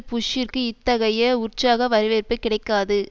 புஷ்ஷிற்கு இத்தகைய உற்சாக வரவேற்பு கிடைக்காது